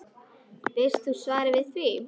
Veist þú svarið við því?